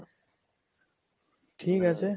ঠিক আছে